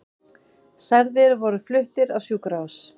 Særðir voru fluttir á sjúkrahús